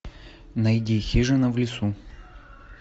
найди хижина в лесу